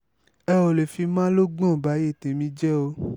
ẹ ò lè fi malógbòn báyé tẹ̀mí jẹ ọ́